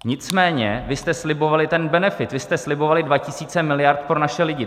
Nicméně vy jste slibovali ten benefit, vy jste slibovali 2 tisíce miliard pro naše lidi.